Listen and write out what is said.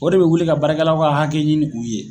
O de be wuli ka baarakɛlaw ka hakɛ ɲini u ye.